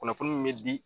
Kunnafoni min bɛ di